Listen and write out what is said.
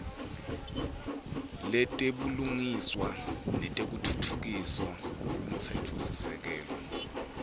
letebulungiswa nekutfutfukiswa kwemtsetfosisekelo